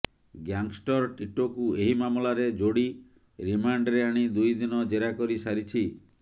gangster ଟିଟୋକୁ ଏହି ମାମଲାରେ ଯୋଡି ରିମାଣ୍ଡରେ ଆଣି ଦୁଇ ଦିନ ଜେରା କରି ସାରିଛି